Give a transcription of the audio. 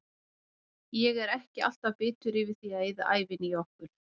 Ég er ekki alltaf bitur yfir því að eyða ævinni í okkur.